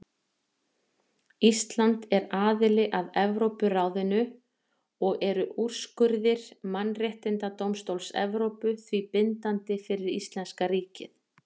Ísland er aðili að Evrópuráðinu og eru úrskurðir Mannréttindadómstóls Evrópu því bindandi fyrir íslenska ríkið.